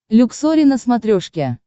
люксори на смотрешке